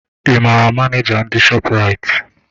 Ị maara Maneja ndị shọpụraiti?